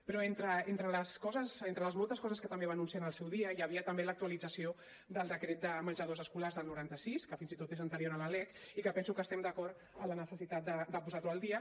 però entre les coses les moltes coses que també va anunciar en el seu dia hi havia també l’actualització del decret de menjadors escolars del noranta sis que fins i tot és anterior a la lec i que penso que estem d’acord amb la necessitat de posar lo al dia